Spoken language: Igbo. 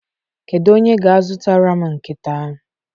Kedu onye ga-azụtara m nkịta?